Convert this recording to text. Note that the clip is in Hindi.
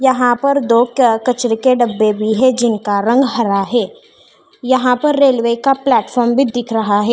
यहाँ पर दो क्या कचरे के डब्बे भी है जिनका रंग हरा है यहाँ पर रेलवे का प्लेटफार्म भी दिख रहा है।